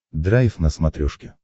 драйв на смотрешке